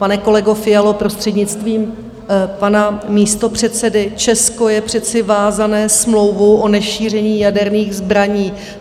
Pane kolego Fialo, prostřednictvím pana místopředsedy, Česko je přece vázané smlouvu o nešíření jaderných zbraní.